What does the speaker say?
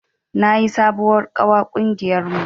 Na yi sabuwar ƙawa ƙungiyar mu